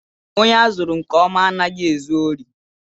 Ònye azụrụ nke ọma anaghị ezu órí.